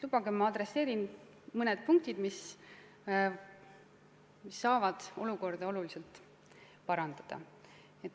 Lubage, ma märgin mõned punktid, mis saavad olukorda oluliselt parandada.